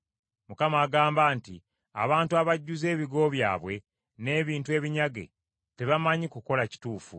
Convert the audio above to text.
Mukama agamba nti, “Abantu abajjuzza ebigo byabwe n’ebintu ebinyage, tebamanyi kukola kituufu.”